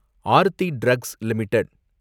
Aarthi drugs limited